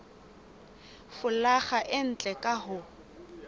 folaga e ntle ka ho